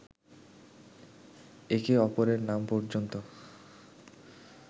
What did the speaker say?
একে অপরের নাম পর্যন্ত